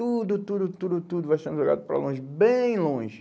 Tudo, tudo, tudo, tudo vai sendo jogado para longe, bem longe.